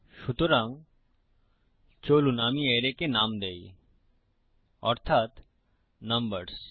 সুতরাং চলুন আমি অ্যারেকে নাম দেই অর্থাত নম্বরস